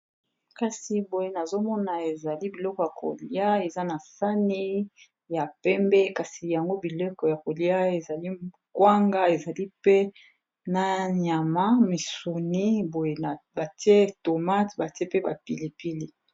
kasi boye nazomona ezali biloko ya kolia eza na sani ya pembe kasi yango bileko ya kolia ezali ngwanga ezali pe na nyama misuni boye batie tomate batie pe bapilipili